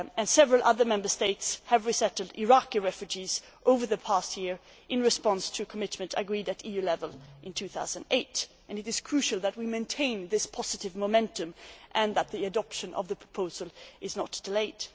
Several other Member States have resettled Iraqi refugees over the past year in response to a commitment agreed at EU level in 2008. It is crucial that we maintain this positive momentum and that the adoption of the proposal is not delayed.